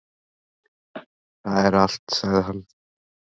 """Það er allt, sagði hann."""